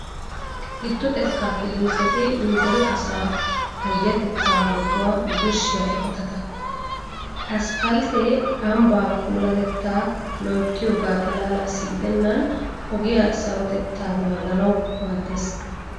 Giddo xekkaa kiliniketi nu deree asaa payyatettaa metuwaa birshshiya eqotata. Aspalttee ambbaa puulatettaa loyttiyogaa xalaalaassi gidennan ogiya sarotettaa naaganawu maaddees.